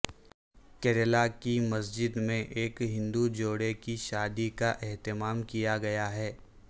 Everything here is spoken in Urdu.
کیرالہ کی مسجد میں ایک ہندو جوڑے کی شادی کا اہتمام کیا گیا ہے